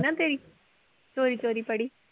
ਨਾ ਤੇਰੀ ਚੋਰੀ ਚੋਰੀ ਫੜੀ।